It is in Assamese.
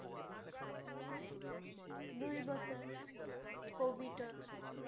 দুই বছৰ, কভিড